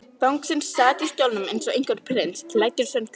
Bangsinn sat í stólnum eins og einhver prins, klæddur í hans sundskýlu.